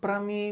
Para mim